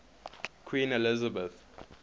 queen elizabeth